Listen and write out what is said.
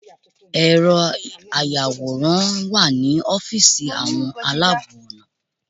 Ẹ̀rọ ayàwòrán wà ní ọ́fíìsì àwọn aláàbọ̀ ọ̀nà.